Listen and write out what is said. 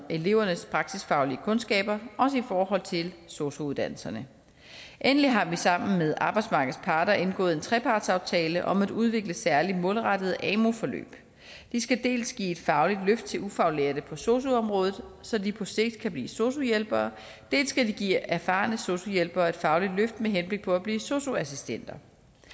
elevernes praksisfaglige kundskaber også i forhold til sosu uddannelserne endelig har vi sammen med arbejdsmarkedets parter indgået en trepartsaftale om at udvikle særligt målrettede amu forløb de skal dels give et fagligt løft til ufaglærte på sosu området så de på sigt kan blive sosu hjælpere dels give erfarne sosu hjælpere et fagligt løft med henblik på at blive sosu assistenter